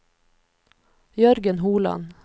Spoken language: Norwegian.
Jørgen Holand